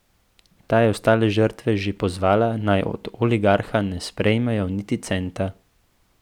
Ta je ostale žrtve že pozvala, naj od oligarha ne sprejmejo niti centa.